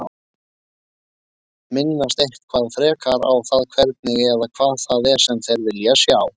Minnast eitthvað frekar á það hvernig eða hvað það er sem þeir vilja sjá?